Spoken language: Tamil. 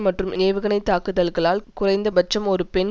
மற்றும் ஏவுகனைத் தாக்குதல்களால் குறைந்தபட்சம் ஒரு பெண்